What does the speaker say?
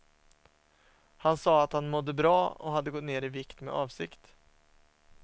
Han sade, att han mådde bra och hade gått ner i vikt med avsikt.